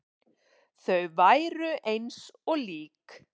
Þau væru eins og lík.